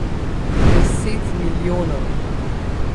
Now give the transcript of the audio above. Deset milijonov!